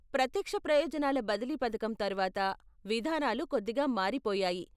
ప్రత్యక్ష ప్రయోజనాల బదిలీ పథకం తరువాత, విధానాలు కొద్దిగా మారిపోయాయి.